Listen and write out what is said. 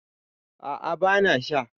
a ' a bana Sha